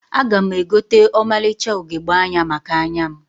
Aga m egote ọmalịcha ugegbe anya maka anya m